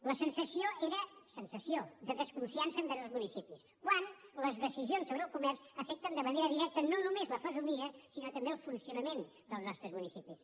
la sensació era sensació de desconfiança envers els municipis quan les decisions sobre el comerç afecten de manera directa no només la fesomia sinó també el funcionament dels nostres municipis